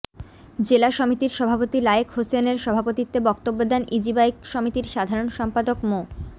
জেলা সমিতির সভাপতি লায়েক হোসেন এর সভাপতিত্বে বক্তব্য দেন ইজিবাইক সমিতির সাধারণ সম্পাদক মো